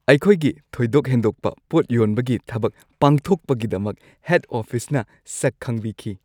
ꯑꯩꯈꯣꯏꯒꯤ ꯊꯣꯏꯗꯣꯛ ꯍꯦꯟꯗꯣꯛꯄ ꯄꯣꯠ ꯌꯣꯟꯕꯒꯤ ꯊꯕꯛ ꯄꯥꯡꯊꯣꯛꯄꯒꯤꯗꯃꯛ ꯍꯦꯗ ꯑꯣꯐꯤꯁꯅ ꯁꯛ ꯈꯪꯕꯤꯈꯤ꯫